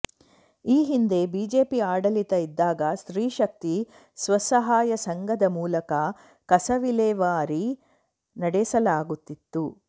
ಈ ಹಿಂದೆ ಬಿಜೆಪಿ ಆಡಳಿತ ಇದ್ದಾಗ ಸ್ತ್ರೀಶಕ್ತಿ ಸ್ವಸಹಾಯ ಸಂಘದ ಮೂಲಕ ಕಸವಿಲೇವಾರಿ ನಡೆಸಲಾಗುತ್ತಿತ್ತು